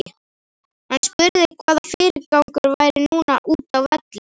Hann spurði hvaða fyrirgangur væri núna útá velli.